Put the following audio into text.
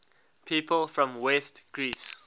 people from west greece